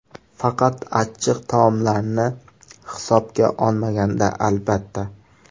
Faqat achchiq taomlarini hisobga olmaganda, albatta.